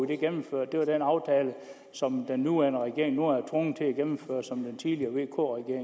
det gennemført den aftale som den nuværende regering nu er tvunget til at gennemføre er den som den tidligere vk